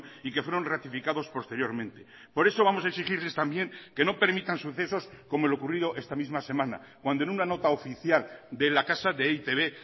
y que fueron ratificados posteriormente por eso vamos a exigirles también que no permitan sucesos como lo ocurrido esta misma semana cuando en una nota oficial de la casa de e i te be